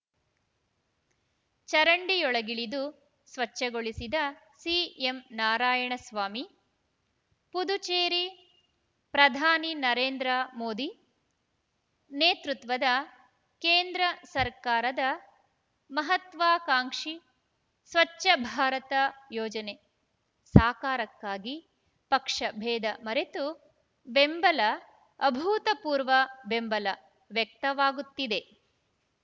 ಚರಂಡಿಯೊಳಗಿಳಿದು ಸ್ವಚ್ಛಗೊಳಿಸಿದ ಸಿಎಂ ನಾರಾಯಣಸ್ವಾಮಿ ಪುದುಚೇರಿ ಪ್ರಧಾನಿ ನರೇಂದ್ರ ಮೋದಿ ನೇತೃತ್ವದ ಕೇಂದ್ರ ಸರ್ಕಾರದ ಮಹತ್ವಾಕಾಂಕ್ಷಿ ಸ್ವಚ್ಛ ಭಾರತ ಯೋಜನೆ ಸಾಕಾರಕ್ಕಾಗಿ ಪಕ್ಷಬೇಧ ಮರೆತು ಬೆಂಬಲ ಅಭೂತಪೂರ್ವ ಬೆಂಬಲ ವ್ಯಕ್ತವಾಗುತ್ತಿದೆ